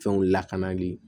Fɛnw lakanali